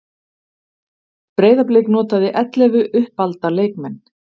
Breiðablik notaði ellefu uppalda leikmenn